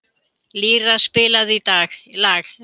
Lýra, spilaðu lag.